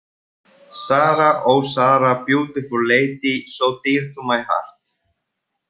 Sara, oh Sara, Beautiful lady, so dear to my heart.